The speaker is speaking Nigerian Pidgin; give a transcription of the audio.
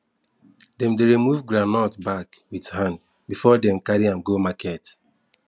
dem dey remove groundnut back with hand before dem carry am go market